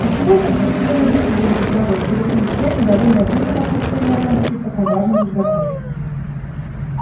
а чего это вдруг тебя на женитьбу разобрало интересуюсь я недовольная полным отсутствием романтики в таком важном разговоре